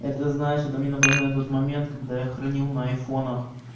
это знаешь это мне напоминает тот момент когда я хранил на айфонах